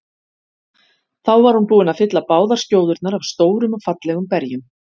Þá var hún búin að fylla báðar skjóðurnar af stórum og fallegum berjum.